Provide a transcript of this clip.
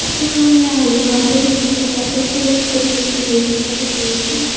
so yeah we can also see some of the passengers sitting and waiting for the train --